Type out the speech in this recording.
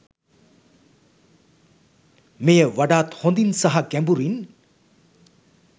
මෙය වඩාත් හොඳින් සහ ගැඹුරින්